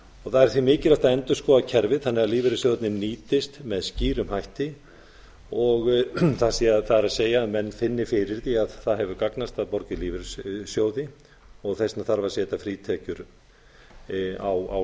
það er því mikilvæg að endurskoða kerfið þannig að lífeyrissjóðirnir nýtist með skýrum hætti það að menn finni fyrir því að það hefur gagnast að borga í lífeyrissjóði og þess vegna þarf að setja frítekjumark á